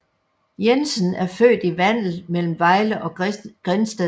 Jensen er født i Vandel mellem Vejle og Grindsted